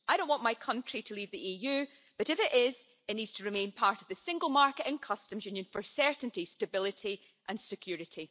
I don't want my country to leave the EU, but if it does, it needs to remain part of the single market and customs union for certainty, stability and security.